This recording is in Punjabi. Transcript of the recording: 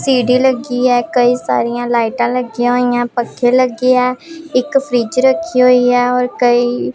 ਸੀ_ਡੀ ਲੱਗੀ ਹੈ ਕਈ ਸਾਰੀਆਂ ਲਾਈਟਾਂ ਲੱਗੀਆਂ ਹੋਈਆਂ ਪੱਖੇ ਲੱਗਿਆ ਇੱਕ ਫ੍ਰਿੱਜ ਰੱਖੀ ਹੋਇਆ ਔਰ ਕਈ--